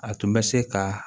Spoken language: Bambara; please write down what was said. A tun bɛ se ka